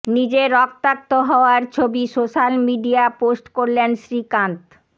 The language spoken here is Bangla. নিজের রক্তাক্ত হওয়ার ছবি সোশ্যাল মিডিয়া পোস্ট করলেন শ্রীকান্ত